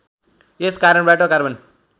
यस कारणबाट कार्बन